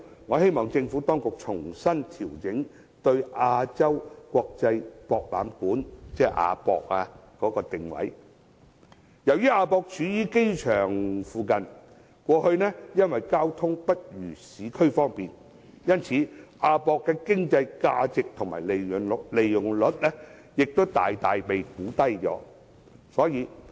我希望政府當局調整對亞洲國際博覽館的定位，由於亞博處於機場附近，過去因為交通不如市區方便，其經濟價值及利用率大大被低估。